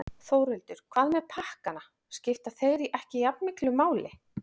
Þórhildur: Hvað með pakkana, skipta þeir ekki jafnmiklu máli?